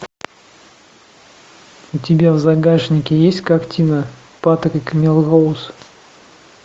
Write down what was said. у тебя в загашнике есть картина патрик мелроуз